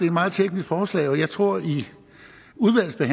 et meget teknisk forslag og jeg tror